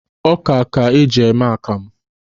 Ọ́kà ka a ga-eji mee àkàmụ̀